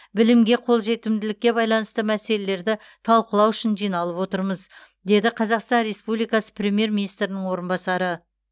білімге қолжетімділікке байланысты мәселелерді талқылау үшін жиналып отырмыз деді қазақстан республикасы премьер министрінің орынбасары